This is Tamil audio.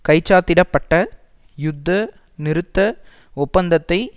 கைச்சாத்திட பட்ட யுத்த நிறுத்த ஒப்பந்தத்தை